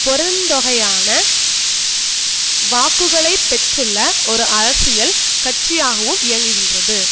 பெருந்தொகையான வாக்குகளை பெற்றுள்ள ஒரு அரசியல் கட்சியாகவும் இயங்குகின்றது